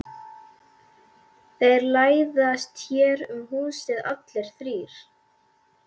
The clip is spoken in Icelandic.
Þeir læðast hér um húsið allir þrír.